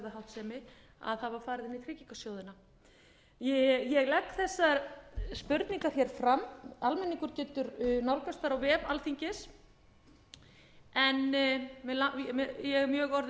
háttsemi að það var farið inn í tryggingasjóðina ég legg þessar spurningar fram almenningur getur nálgast þær á vef alþingis en ég er orðin mjög langeygð